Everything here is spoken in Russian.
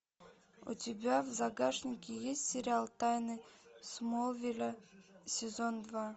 у тебя в загашнике есть сериал тайны смолвиля сезон два